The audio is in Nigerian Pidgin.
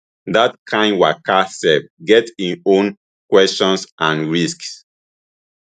dat kain waka sef get im own questions and risks